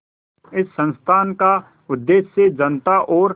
इस संस्थान का उद्देश्य जनता और